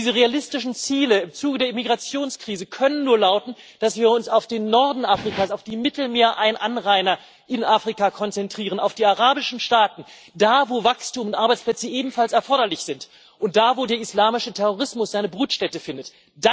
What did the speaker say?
Diese realistischen Ziele im Zuge der Immigrationskrise können nur lauten, dass wir uns auf den Norden Afrikas, auf die Mittelmeeranrainer in Afrika konzentrieren, auf die arabischen Staaten, da, wo Wachstum und Arbeitsplätze ebenfalls erforderlich sind und wo der islamische Terrorismus seine Brutstätte findet.